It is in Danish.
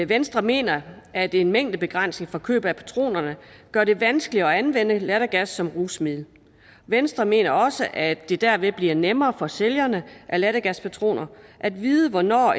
venstre mener at en mængdebegrænsning for køb af patronerne gør det vanskeligere at anvende lattergas som rusmiddel venstre mener også at det derved bliver nemmere for sælgerne af lattergaspatroner at vide hvornår